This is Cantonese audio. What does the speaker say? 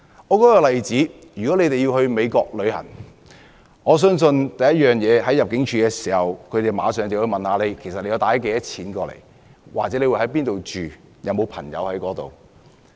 一個例子是，如果一個人要到美國旅遊，我相信當地入境部門會先問他攜帶多少現金或會在哪裏居住，以及在當地有沒有朋友。